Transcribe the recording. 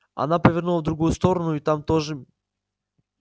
она повернула в другую сторону и там тоже